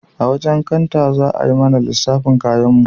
A wajen kanta za a mana lissafin kayanmu